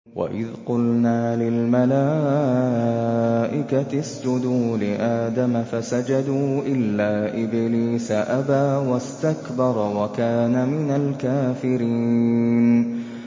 وَإِذْ قُلْنَا لِلْمَلَائِكَةِ اسْجُدُوا لِآدَمَ فَسَجَدُوا إِلَّا إِبْلِيسَ أَبَىٰ وَاسْتَكْبَرَ وَكَانَ مِنَ الْكَافِرِينَ